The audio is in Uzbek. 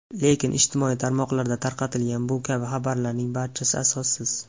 Lekin ijtimoiy tarmoqlarda tarqatilgan bu kabi xabarlarning barchasi asossiz.